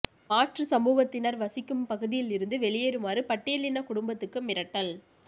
மாற்று சமூகத்தினா் வசிக்கும் பகுதியில் இருந்து வெளியேறுமாறு பட்டியலின குடும்பத்துக்கு மிரட்டல்